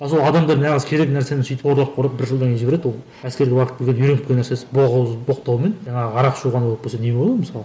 ал сол адамдар нағыз керек нәрсені сөйтіп одақ құрып бір жылдан кейін жібереді ол әскерге барып келген үйреніп келген нәрсесі боқауыз боқтау мен жаңағы арақ ішу ғана болып келсе не болады мысалы